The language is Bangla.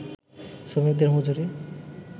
শ্রমিকদের মজুরি